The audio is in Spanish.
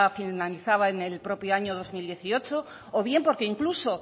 finalizaba en el propio año dos mil dieciocho o bien porque incluso